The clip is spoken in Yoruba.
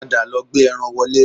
Padà lọ gbé ẹran wọlé